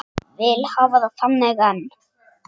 Vil hafa það þannig enn.